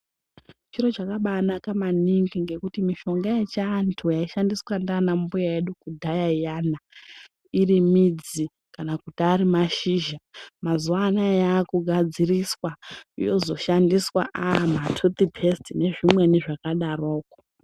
Chiro chakabaanaka maningi, ngekuti mishonga yechiantu yaishandiswa ngaana mbuya edu kudhaya iyana, irimidzi kana kuti ari mashizha, mazuwa anaa yaakugadziriswa, yozoshandiswa yaamatuthiphesiti nezvimweni zvakadaroko.